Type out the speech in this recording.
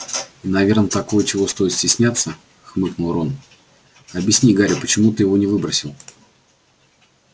и наверное такое чего стоит стесняться хмыкнул рон объясни гарри почему ты его не выбросил